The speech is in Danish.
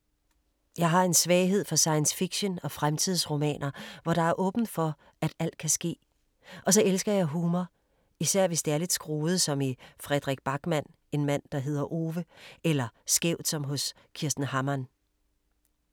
Jeg har en svaghed for science-fiction og fremtidsromaner, hvor der er åbent for at alt kan ske. Og så elsker jeg humor. Især hvis det er lidt skruet, som i Fredrik Backman En mand der hedder Ove. Eller skævt som hos Kirsten Hammann.